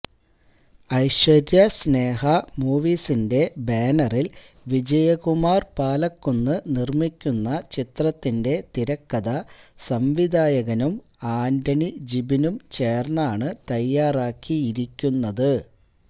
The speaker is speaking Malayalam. ഐശ്വര്യ സ്നേഹ മൂവീസിന്റെ ബാനറില് വിജയകുമാര് പാലക്കുന്ന് നിര്മിക്കുന്ന ചിത്രത്തിന്റെ തിരക്കഥ സംവിധായകനും ആന്റണി ജിബിനും ചേര്ന്നാണ് തയ്യാറാക്കിയിരിക്കുന്നത്